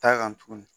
Taa kan tuguni